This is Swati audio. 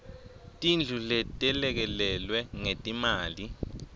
tindlu letelekelelwe ngetimali